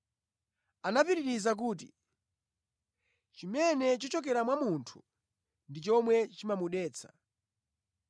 Anapitiriza kuti, “Chimene chichokera mwa munthu ndi chomwe chimamudetsa.